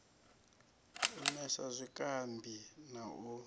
u nwesa zwikambi na u